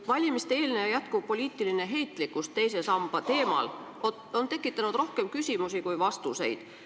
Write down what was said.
Valimiste-eelne ja praegugi jätkuv poliitiline heitlikkus teise samba teemal on tekitanud rohkem küsimusi kui vastuseid.